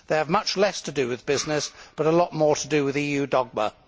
They have much less to do with business, but a lot more to do with EU dogma.